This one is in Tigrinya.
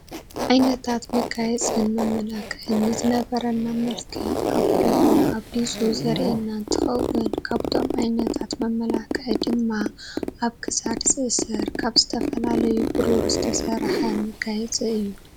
ዓይነታት መጋየፅን መመላክን ንዝነበረና መልክዕ ኣጉልሁ ኣብሊፁ ዘሪኣና እንትከውን ካብቶም ዓይነታት መመላክዒ ድማ ኣብ ክሳድ ዝእሰር ካብ ዝተፈላለዩ በሩር ዝተሰርሐ መጋየፂ እዩ።